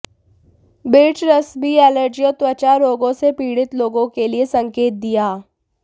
birch रस भी allergy और त्वचा रोगों से पीड़ित लोगों के लिए संकेत दिया